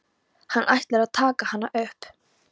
Hann ætlar að taka hana upp.